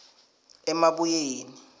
emabuyeni